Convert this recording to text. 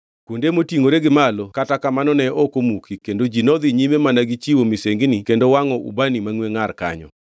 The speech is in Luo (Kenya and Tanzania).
Kuonde motingʼore gi malo kata kamano ne ok omuki kendo ji nodhi nyime mana gi chiwo misengini kendo wangʼo ubani mangʼwe ngʼar kanyo.